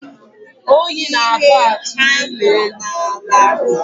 Oyi na-aka atụ n'ụlọ elu.